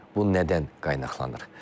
Bu nədən qaynaqlanır?